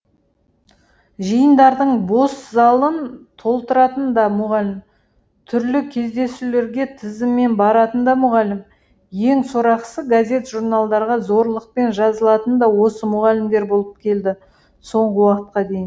жиындардың бос залын толтыратын да мұғалім түрлі кездесулерге тізіммен баратын да мұғалім ең сорақысы газет журналдарға зорлықпен жазылатын да осы мұғалімдер болып келді соңғы уақытқа дейін